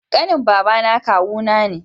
ƙanin baba kawu ne